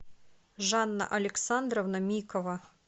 жанна александровна микова